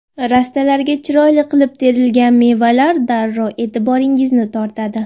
Rastalarga chiroyli qilib terilgan mevalar darrov e’tiboringizni tortadi?